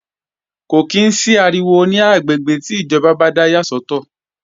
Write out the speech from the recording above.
Kò ní sí ariwo ní àwọn àgbègbè tí ìjọba yà sọ́tọ̀